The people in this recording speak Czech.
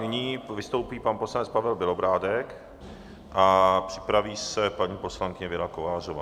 Nyní vystoupí pan poslanec Pavel Bělobrádek a připraví se paní poslankyně Věra Kovářová.